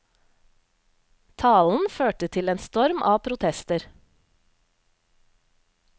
Talen førte til en storm av protester.